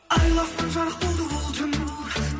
айлы аспан жарық болды бұл түн